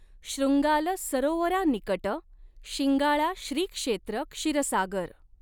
शॄंगाल सरोवरा निकट शिंगाळा श्री क्षेत्र क्षीरसागर.